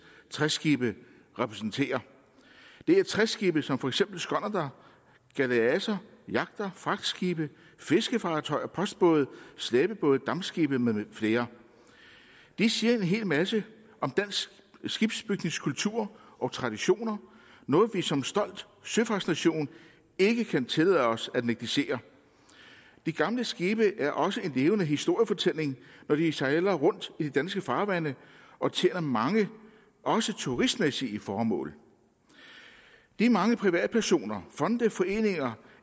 træskibe repræsenterer det er træskibe som for eksempel skonnerter galeaser jagter fragtskibe fiskefartøjer postbåde slæbebåde dampskibe med flere det siger en hel masse om dansk skibsbygningskultur og traditioner noget vi som stolt søfartsnation ikke kan tillade os at negligere de gamle skibe er også en levende historiefortælling når de sejler rundt i de danske farvande og tjener mange også turistmæssige formål det er mange privatpersoner fonde foreninger